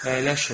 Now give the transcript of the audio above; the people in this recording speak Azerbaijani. Əyləşin.